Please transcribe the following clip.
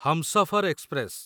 Humsafar express